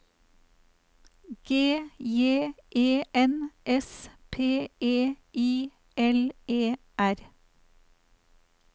G J E N S P E I L E R